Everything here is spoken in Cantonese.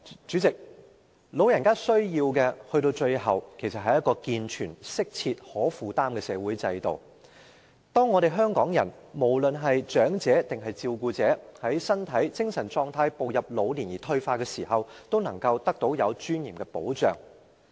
主席，老人家最終需要的，其實是一個健全、適切和可負擔的社會制度，這制度可讓香港人，不論是長者或照顧者，在身體和精神狀態步入老年而退化的時候，能夠得到具尊嚴的保障。